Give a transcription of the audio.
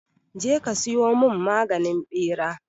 Je ka siyo mun maganin ɓera!